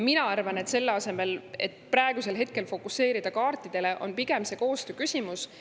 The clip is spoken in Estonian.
Mina arvan, et selle asemel, et praegu fokuseerida kaartidele, on pigem see koostööküsimus.